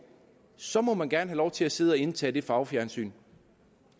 så må man gerne have lov til at sidde og indtage det farvefjernsyn